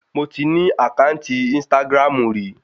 Mo ti ní àkáǹtì ínstágráàmù rí